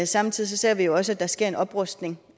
samtidig ser vi jo også at der sker en oprustning